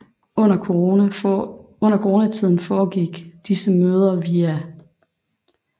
Under Corona tiden foregik disse møder via